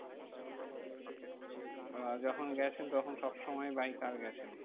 আহ যখন গেছেন তখন সবসময় by car গেছেন?